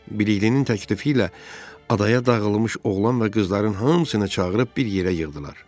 Biliklinin təklifi ilə adaya dağılmış oğlan və qızların hamısını çağırıb bir yerə yığdılar.